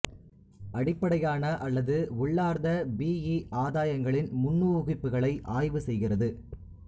அடிப்படையான அல்லது உள்ளார்ந்த பிஇ ஆதாயங்களின் முன்னூகிப்புகளை ஆய்வு செய்கிறது